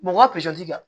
Mɔgɔ ka kɛ